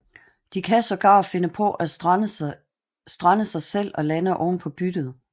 De kan sågar finde på at strande sig selv og lande oven på byttet